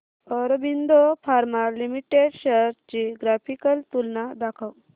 Aurobindo pharma limited shares ची graphical तुलना दाखव